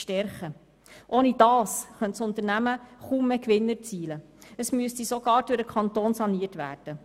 Ohne diese könnte das Unternehmen kaum mehr Gewinn erzielen und müsste sogar durch den Kanton saniert werden.